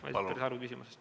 Kalle Grünthal, palun!